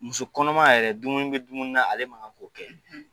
Musokɔnɔma yɛrɛ dumuni bɛ dumuni na ale ma k'o kɛ